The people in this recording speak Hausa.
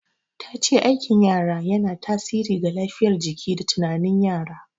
Ta ce aikin yara yana tasiri ga lafiyar jiki da tunanin yara.